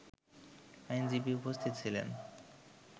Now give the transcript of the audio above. আইনজীবী উপস্থিত ছিলেন